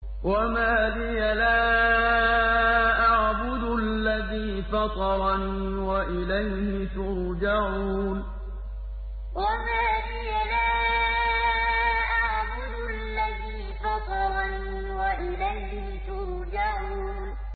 وَمَا لِيَ لَا أَعْبُدُ الَّذِي فَطَرَنِي وَإِلَيْهِ تُرْجَعُونَ وَمَا لِيَ لَا أَعْبُدُ الَّذِي فَطَرَنِي وَإِلَيْهِ تُرْجَعُونَ